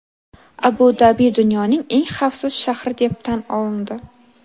Abu-Dabi dunyoning eng xavfsiz shahri deb tan olindi.